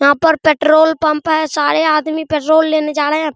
यहाँ पर petrol pump है सारे आदमी पेट्रोल लेने जा रहे हैं |